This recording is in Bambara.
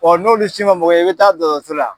n'olu si man mago ɲa i bɛ taa dɔtɔrɔso la.